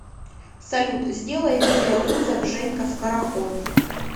салют сделай видеовызов женька скороход